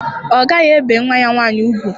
Ọ gaghị ebe nwa ya nwaanyị ugwu.